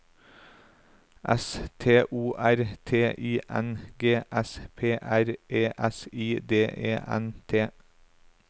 S T O R T I N G S P R E S I D E N T